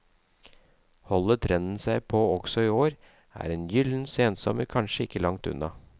Holder trenden seg også i år, er en gyllen sensommer kanskje ikke langt unna.